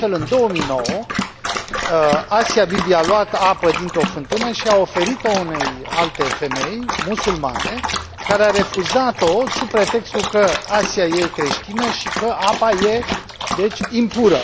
Astfel, în 2009, Asia Bibi a luat apă dintr o fântână și a oferit o unei alte femei, musulmane, care a refuzat o sub pretextul că Asia este creștină și că apa este, deci, impură.